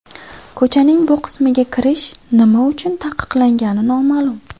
Ko‘chaning bu qismiga kirish nima uchun taqiqlangani noma’lum.